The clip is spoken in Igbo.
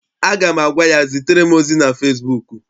Aga m agwa ya, zitere m ozi na fesibuuku!